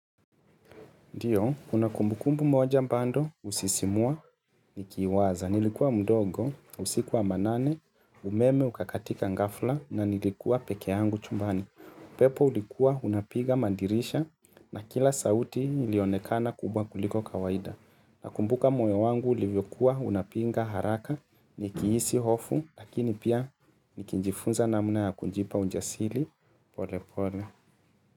Ndiyo, kuna kumbukumbu moja bado, husisimua, nikiiwaza, nilikuwa mdogo, usiku wa manane, umeme, ukakatika ghafla, na nilikuwa peke yangu chumbani. uPepo ulikuwa, unapiga madirisha, na kila sauti ilionekana kubwa kuliko kawaida. Nakumbuka moyo wangu, ulivyokuwa, unapiga haraka, nikihisi hofu, lakini pia, nikijifunza namna ya kunjipa ujasiri, pole pole.